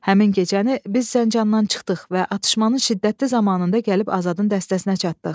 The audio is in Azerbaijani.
Həmin gecəni biz Zəncandan çıxdıq və atışmanın şiddətli zamanında gəlib Azadın dəstəsinə çatdıq.